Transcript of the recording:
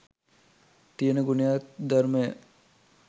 තියන ගුණයක් ධර්මය